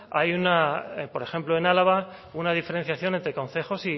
hay una por ejemplo en álava una diferenciación entre concejos